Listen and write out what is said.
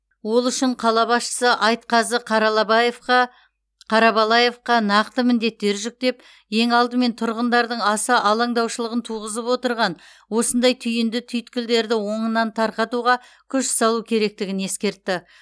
ол үшін қала басшысы айтқазы қарабалаевқа қаралабаевқа нақты міндеттер жүктеп ең алдымен тұрғындардың аса алаңдаушылығын туғызып отырған осындай түйінді түйткілдерді оңынан тарқатуға күш салу керектігін ескертті